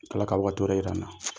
Ala ka waati wɛrɛ yir'an na.